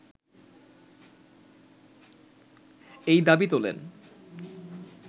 এই দাবি তোলেন